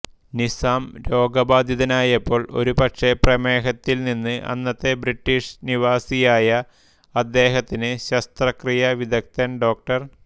നിസാം രോഗബാധിതനായപ്പോൾ ഒരുപക്ഷേ പ്രമേഹത്തിൽ നിന്ന് അന്നത്തെ ബ്രിട്ടീഷ് നിവാസിയായ അദ്ദേഹത്തിന് ശസ്ത്രക്രിയാ വിദഗ്ധൻ ഡോ